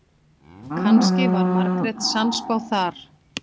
Kannski var Margrét sannspá þar.